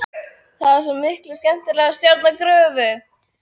Það er svo miklu skemmtilegra að stjórna gröfu.